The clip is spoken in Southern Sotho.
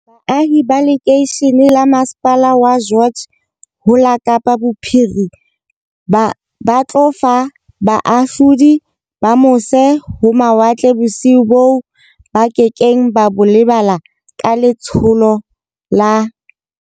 Baahi ba lekeishene la masepala wa George ho la Kapa Bophiri ma ba tlo fa bahahlaudi ba mose-ho-mawatle bosiu boo ba ke keng ba bo lebala ka le tsholo la.